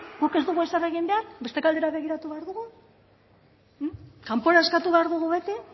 guk ez dugu ezer egin behar beste alde batera begiratu behar dugu kanpora eskatu behar dugu beti